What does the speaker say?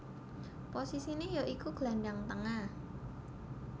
Posisiné ya iku glandhang tengah